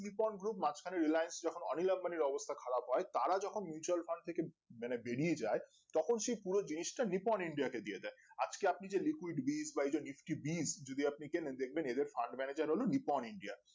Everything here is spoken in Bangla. নিপন group মাঝখানে Reliance যখন অনিল আম্বানির অবস্থা খারাপ হয় তারা যখন mutual Fund থেকে মানে বেরিয়ে যায় তখন সেই পুরো জিনিসটা নিপন india কে দিয়ে দেয় আজকে আপনি যে liquit বীচ বা এইযে নিস্ক্রিপ বীচ যদি আপনি কেনেন দেখবেন এদের fund manager হলো নিপন india